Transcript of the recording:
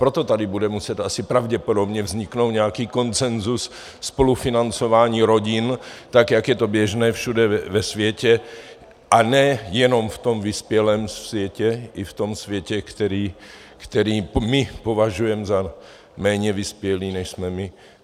Proto tady bude muset asi pravděpodobně vzniknout nějaký konsenzus spolufinancování rodin, tak jak je to běžné všude ve světě, a ne jenom v tom vyspělém světě, i v tom světě, který my považujeme za méně vyspělý, než jsme my.